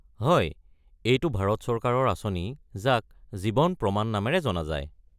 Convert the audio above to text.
হয়, এইটো ভাৰত চৰকাৰৰ আঁচনি যাক জীৱন প্ৰমাণ নামেৰে জনা যায়।